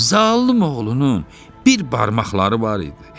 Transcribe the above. Zalım oğlunun bir barmaqları var idi.